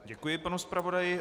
Děkuji panu zpravodaji.